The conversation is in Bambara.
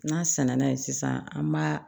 N'a sɛnɛnna ye sisan an b'a